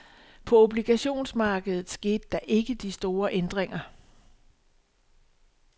På obligationsmarkedet skete der ikke de store ændringer.